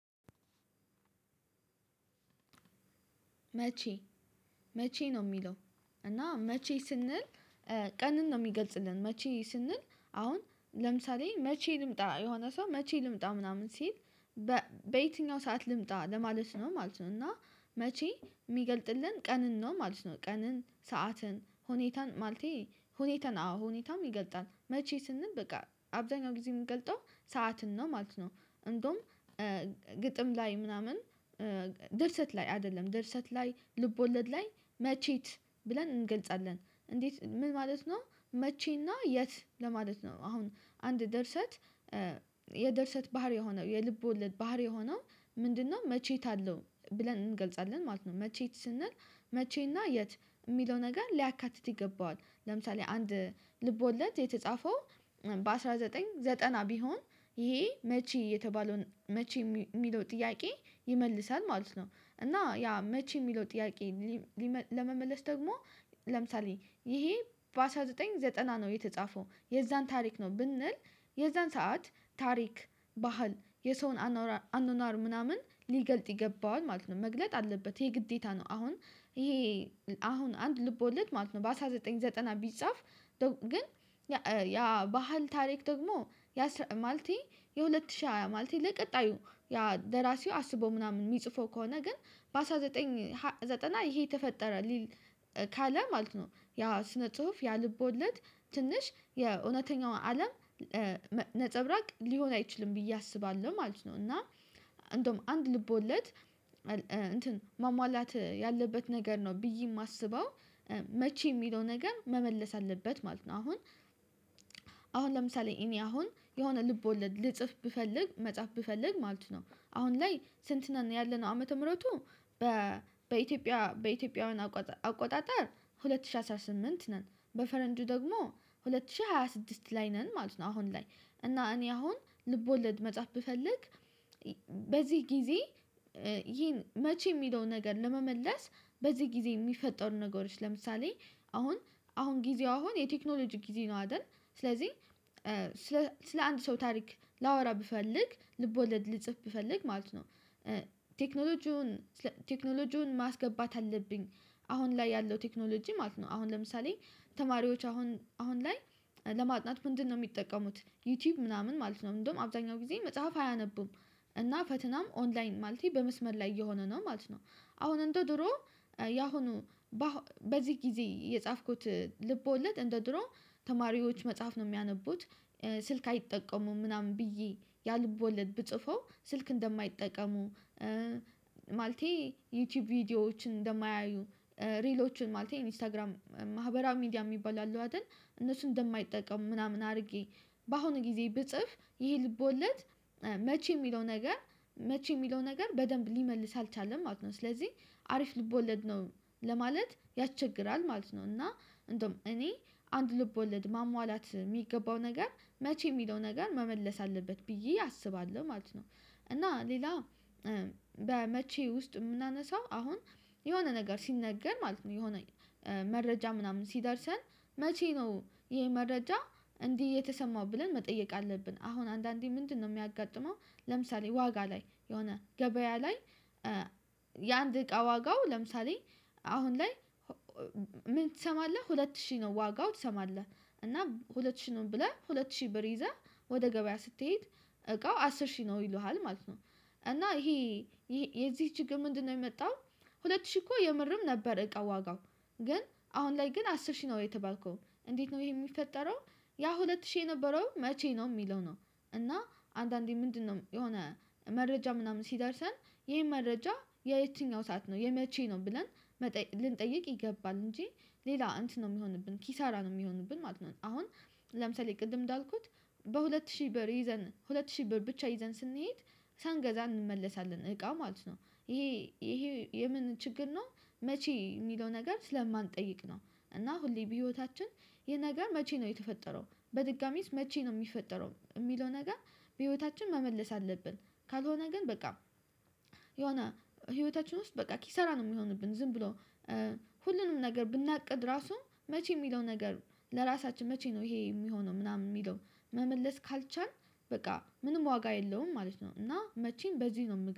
መቼ መቼ ነው እሚለው እና መቼ ስንል ቀንን ነው እሚገልጽልን መቼ ስንል አሁን ለምሳሌ መቼ ልምጣ የሆነ ሰው መቼ ልምጣ ምናምን ሲል በየትኛው ሰዓት ልምጣ ለማለት ነው ማለት ነው። እና መቼ እሚገልፅልን ቀንን ነው ማለት ነው ቀንን ሰዓትን ሁኔታን ማለቴ ሁኔታን አዎ ሁኔታም ይገልጻል መቼ ስንል በቃ አብዛኛው ጊዜ እምንገልፀው ሰዓትን ነው ማለት ነው። እንደውም ግጥም ላይ ምናምን ድርሰት ላይ አይደለም ድርሰት ላይ ልብ ወለድ ላይ መቼት ብለን እንገልጻለን እንዴት ምን ማለት ነው መቼና የት ለማለት ነው። አሁን አንድ ደርሰት የደርሰት ባህሪ የሆነው የልብ ወለድ ባህሪ የሆነው ምንድነው መቼት አለው ብለን እንገልጻለን ማለት ነው። መቼት ስንል መቼና የት እሚለው ነገር ሊያካትት ይገባዋል ለምሳሌ አንድ ልብ ወለድ የተጻፈው በአስራ ዘጠኝ ዘጠና ቢሆን ይሄ መቼ የተባለውን መቼ እሚለው ጥያቄ ይመለሳል ማለት ነው። እና ያ መቼ እሚለው ጥያቄ ለመመለስ ደግሞ ለምሳሌ ይሄ በአስራ ዘጠኝ ዘጠና ነው የተጻፈው የዛን ታሪክ ነው ብንል የዛን ሰዓት ታሪክ ባህል የሰውን አኗኗር ምናምን ሊገልፅ ይገባዋል ማለት ነው መግለጽ አለበት የግዴታ ነው። አሁን ይሄ አሁን አንድ ልቦለድ ማለት ነው በአስራ ዘጠኝ ዘጠና ቢጻፍ ግን ያ ባህል ታሪክ ደግሞ ያ ማለቴ የሁለት ሺህ ሃያ ማለቴ ለቀጣዩ ያ ደራሲው አስቦ ምናምን እሚጽፈው ከሆነ ግን በአስራ ዘጠኝ ዘጠና ይሄ ተፈጠረ ሊል ካለ ማለት ነው ያ ስነ ጽሁፍ ያልቦለድ ትንሽ የእውነተኛው አለም ነፀብራቅ ሊሆን አይችልም ብዬ አስባለሁ ማለት ነው። እና እንደውም አንድ ልቦለድ እንትን ማሟላት ያለበት ነገር ነው ብዬ እማስበው መቼ የሚለው ነገር መመለስ አለበት ማለት ነው። አሁን አሁን ለምሳሌ እኔ አሁን የሆነ ልቦለድ ልጽፍ ብፈልግ መጻፍ ብፈልግ ማለት ነው አሁን ላይ ስንት ነን ያለነው ዓመተ ምህረቱ በኢትዮጵያ በኢትዮጵያውያን አቆጣጠር ሁለት ሺህ አስራ ስምንት ነን በፈረንጁ ደግሞ ሁለት ሺህ ሃያ ስድስት ላይ ነን ማለት ነው። አሁን ላይ እና እኔ አሁን ልቦለድ መጽሐፍ ብፈልግ በዚህ ጊዜ ይሄን መቼ እሚለውን ነገር ለመመለስ በዚህ ጊዜ እሚፈጠሩ ነገሮች ለምሳሌ አሁን አሁን ጊዜው አሁን የቴክኖሎጂ ጊዜ ነው አይደል ስለዚህ ስለ አንድ ሰው ታሪክ ላወራ ብፈልግ ልቦለድ ልጽፍ ብፈልግ ማለት ነው ቴክኖሎጂውን ቴክኖሎጂውን ማስገባት አለብኝ አሁን ላይ ያለው ቴክኖሎጂ ማለት ነው አሁን ለምሳሌ ተማሪዎች አሁን አሁን ላይ ለማጥናት ምንድነው እሚጠቀሙት ዩቲዩብ ምናምን ማለት ነው እንደውም አብዛኛው ጊዜ መጽሐፍ አያነቡም እና ፈትናም ኦንላይን ማለቴ በመስመር ላይ እየሆነ ነው ማለት ነው። አሁን እንደ ድሮ ያሁኑ በዚህ ጊዜ የጻፍኩት ልቦለድ እንደ ድሮው ተማሪዎች መጽሐፍ ነው እሚያነቡት ስልክ አይጠቀሙም ምናምን ብዬ ያልቦለድ ብጽፈው ስልክ እንደማይጠቀሙ ማለቴ ዩቲዩብ ቪዲዮዎችን እንደማያዩ ሪሎችን ማለቴ ኢንስታግራም ማህበራዊ ሚዲያ እሚባሉ አሉ አይደል እነሱን እንደማይጠቀሙ ምናምን አድርጌ በአሁኑ ጊዜ ብጽፍ ይሄ ልብ ወለድ መቼ እሚለው ነገር መቼ እሚለው ነገር በደንብ ሊመልስ አልቻለም ማለት ነው። ስለዚህ አሪፍ ልብ ወለድ ነው ለማለት ያስቸግራል ማለት ነው እና እንደውም እኔ አንድ ልቦለድ ማሟላት እሚገባው ነገር መቼ እሚለው ነገር መመለስ አለበት ብዬ አስባለሁ ማለት ነው። እና ሌላ በመቼ ውስጥ እምናነሳው አሁን የሆነ ነገር ሲነገር ማለት ነው የሆነ መረጃ ምናምን ሲደርሰን መቼ ነው ይሄ መረጃ እንዲህ የተሰማው ብለን መጠየቅ አለብን። አሁን አንዳንዴ ምንድነው እሚያጋጥመው ለምሳሌ ዋጋ ላይ የሆነ ገበያ ላይ የአንድ እቃ ዋጋው ለምሳሌ አሁን ላይ ምን ትሰማለህ ሁለት ሺህ ነው ዋጋው ትሰማለህ? እና ሁለት ሺህ ነው ብለህ ሁለት ሺህ ብር ይዘህ ወደ ገበያ ስትሄድ እቃው አስር ሺህ ነው ይሉሃል ማለት ነው። እና ይሄ የዚህ ችግር ምንድነው የመጣው? ሁለት ሺህ እኮ የምርም ነበረ እቃ ዋጋው ግን አሁን ላይ ግን አስር ሺህ ነው የተባልከው እንዴት ነው ይሄ እሚፈጠረው? ያ ሁለት ሺህ የነበረው መቼ ነው እሚለው ነው እና አንዳንዴ ምንድነው የሆነ መረጃ ምናምን ሲደርሰን ይሄን መረጃ የየትኛው ሰዓት ነው የመቼ ነው ብለን መጠየቅ ልንጠይቅ ይገባል። እንጂ ሌላ እንትን ነው እሚሆንብን ኪሳራ ነው እሚሆንብን ማለት ነው። አሁን ለምሳሌ ቅድም እንዳልኩት በሁለት ሺህ ብር ይዘን ሁለት ሺህ ብር ብቻ ይዘን ስንሄድ ሳንገዛ እንመለሳለን እቃ ማለት ነው። ይሄ ይሄ የምን ችግር ነው? መቼ እሚለው ነገር ስለማንጠይቅ ነው። እና ሁሌ በህይወታችን ይህ ነገር መቼ ነው የተፈጠረው በድጋሚስ መቼ ነው እሚፈጠረው እሚለው ነገር በህይወታችን መመለስ አለብን። ካልሆነ ግን በቃ የሆነ ህይወታችን ውስጥ በቃ ኪሰራ ነው እሚሆንብን ዝም ብሎ ሁሉንም ነገር ብናቅድ ራሱ መቼ እሚለው ነገር ለራሳችን መቼ ነው ይሄ እሚሆነው ምናምን እሚለው መመለስ ካልቻልን በቃ ምንም ዋጋ የለውም ማለት ነው። እና መቼም በዚህ ነው